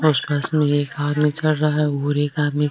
उस बस में एक आदमी चढ़ रहा है और एकआदमी --